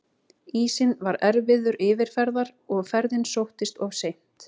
Ísinn var erfiður yfirferðar og ferðin sóttist of seint.